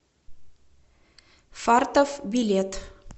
фартов билет